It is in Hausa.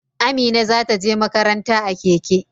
Amina za ta je makaranta a keke.